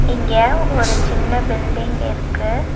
இங்க ஒரு சின்ன பில்டிங் இருக்கு.